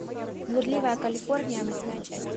блудливая калифорния восьмая часть